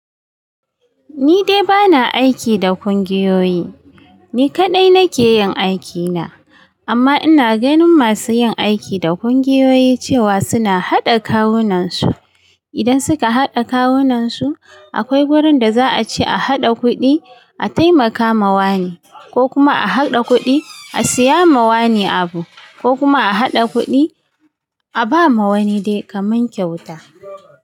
Ni dai ba na aiki da ƙungiyoyi, ni kaɗai nake yin aikina. Amma ina ganin masu yin aiki da ƙungiyoyi cewa suna haɗa kawunansu. Idan suka haɗa kawunansu, akwai wurin da za a ce a haɗa kuɗi a taimaka ma wani, ko kuma a haɗa kuɗi a siya ma wani abu, ko kuma a haɗa kuɗi a ba ma wani dai ka man kyauta.